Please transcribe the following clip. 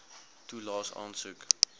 toelaes aansoek